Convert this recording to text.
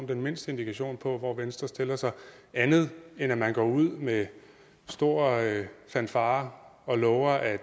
den mindste indikation på hvor venstre stiller sig andet end at man går ud med store fanfarer og lover at